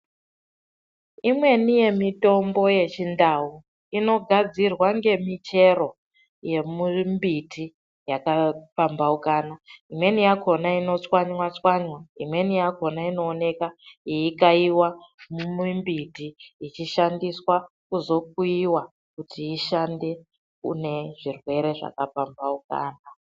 Imweni yemitombo yechiNdau inogadzirwa ngemichero yemumbiti yakapambaukana imweni yakona inotswanywa tswanywa imweni yakona inooneka yeikayiwa mumumbiti yechishandiswa kuzokuyiwa kuti ishande Kune zvirwere zvakapambaukana.